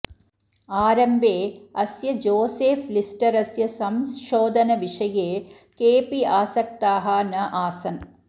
आरम्भे अस्य जोसेफ् लिस्टरस्य संशोधनविषये केऽपि आसक्ताः नासन्